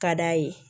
Ka d'a ye